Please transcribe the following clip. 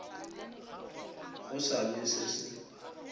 go sa le se se